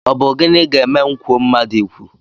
Ọ bụ gịnị ga-eme ma m kwuo mmadụ ikwu?